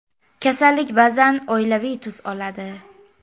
Kasallik ba’zan oilaviy tus oladi.